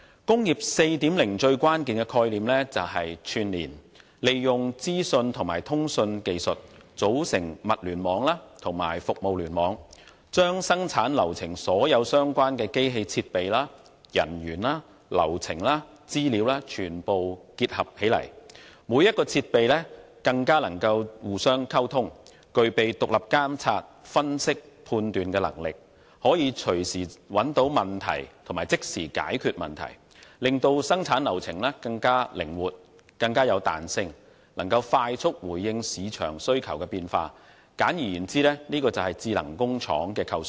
"工業 4.0" 最關鍵的概念是串連，利用資訊和通訊技術，組成物聯網及服務聯網，將生產流程所有相關的機器設備、人員、流程與資料全部結合起來；每個設備更能互相溝通，具備獨立監察、分析和判斷能力，可以隨時找到問題及即時解決問題，從而令生產流程更靈活和具彈性，能快速回應市場需求的變化，簡而言之，就是智能工廠的構想。